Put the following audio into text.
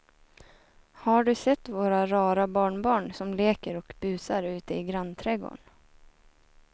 Har du sett våra rara barnbarn som leker och busar ute i grannträdgården!